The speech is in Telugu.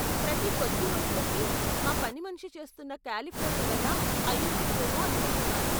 ప్రతి కొద్ది రోజులకి మా పని మనిషి చేస్తున్న కాలిఫ్లవర్ వల్ల అయ్యుంటుందేమో అనుకుంటున్నాను.